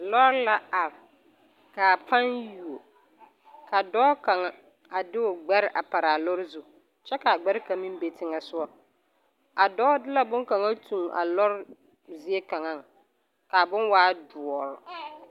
Lɔɔre la are kaa pan yuo ka dɔɔ kaŋa a de o gbɛre a paraa lɔɔre zu kyɛ kaa gbɛre kaŋ meŋ be teŋɛsogɔ a dɔɔ de la boŋkaŋa tuŋ a lɔɔre zie kaŋaŋ kaa boŋ waa doɔre.